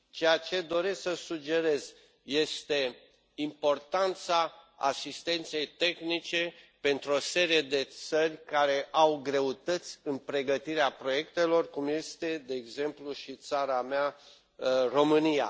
Ceea ce doresc să sugerez este importanța asistenței tehnice pentru o serie de țări care au greutăți în pregătirea proiectelor, cum este, de exemplu, și țara mea, România.